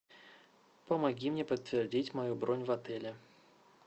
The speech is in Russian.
помоги мне подтвердить мою бронь в отеле